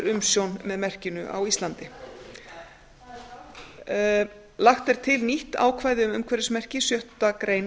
umsjón með merkinu á íslandi lagt er til nýtt ákvæði um umhverfismerki sjöttu grein